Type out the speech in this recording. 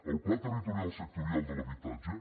el pla territorial sectorial de l’habitatge